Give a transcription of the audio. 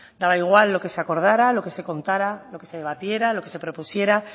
daba igual lo que se acordará lo que se contará lo que se debatiera lo que se propusiera